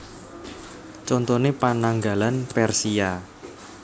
Contoné Pananggalan Persia